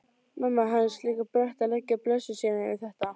Mamma hans líka brött að leggja blessun sína yfir þetta.